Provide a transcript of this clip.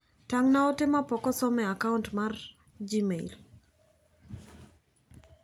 Tang' na ote ma pok osom e akount mara mar gmail.